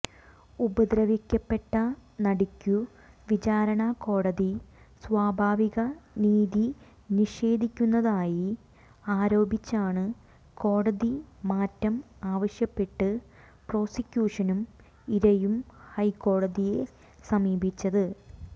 ഉപദ്രവിക്കപ്പെട്ട നടിക്കു വിചാരണക്കോടതി സ്വാഭാവിക നീതി നിഷേധിക്കുന്നതായി ആരോപിച്ചാണു കോടതി മാറ്റം ആവശ്യപ്പെട്ടു പ്രോസിക്യൂഷനും ഇരയും ഹൈക്കോടതിയെ സമീപിച്ചത്